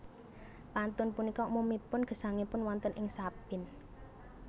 Pantun punika umumipun gesangipun wonten ing sabin